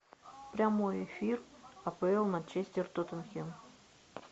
прямой эфир апл манчестер тоттенхэм